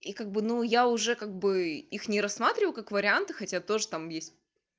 и как бы ну я уже как бы их не рассматриваю как вариант хотя тоже там есть